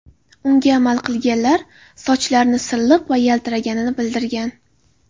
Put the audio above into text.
Unga amal qilganlar sochlarini silliq va yaltiraganini bildirgan.